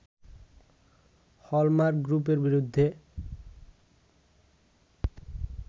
hallmark গ্রুপের বিরুদ্ধে